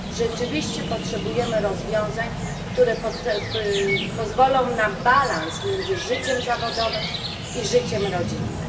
Rzeczywiście potrzebujemy rozwiązań, które pozwolą nam uzyskać równowagę między życiem zawodowym i życiem rodzinnym.